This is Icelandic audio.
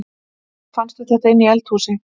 Ha! Fannstu þetta inni í eldhúsi?